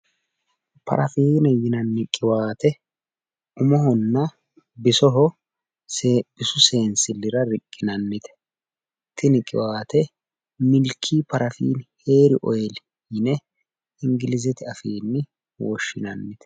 Parafiine yinanni qiwaate umohonna bisoho bisu seensillira riqqinannite. Tini qiwaate milkii parafiine heeri oyiili yine ingilizete afiinni woshshinannite.